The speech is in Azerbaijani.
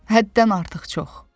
Həddən artıq çox.